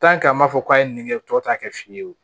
an b'a fɔ k'a ye nin kɛ tɔ ta kɛ fiye ye o